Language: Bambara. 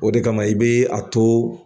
O de kama i be a to.